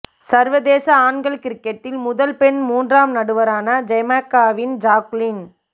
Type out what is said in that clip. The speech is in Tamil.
சர்வதேச ஆண்கள் கிரிக்கெட்டில் முதல் பெண் மூன்றாம் நடுவரான ஜமைக்காவின் ஜாக்குலின்